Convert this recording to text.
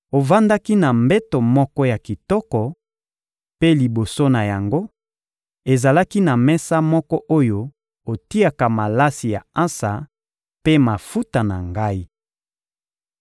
Ovandaki na mbeto moko ya kitoko; mpe liboso na yango, ezalaki na mesa moko oyo otiaka malasi ya ansa mpe mafuta na Ngai.